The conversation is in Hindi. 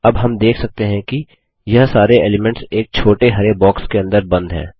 अब हम देख सकते हैं कि यह सारे एलीमेंट्स एक छोटे हरे बॉक्स के अंदर बंद है